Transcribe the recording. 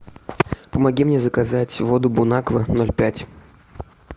помоги мне заказать воду бонаква ноль пять